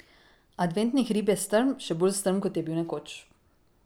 Adventni hrib je strm, še bolj strm, kot je bil nekoč.